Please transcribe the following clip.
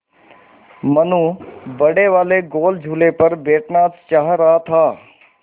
मनु बड़े वाले गोल झूले पर बैठना चाह रहा था